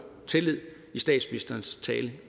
i statsministerens tale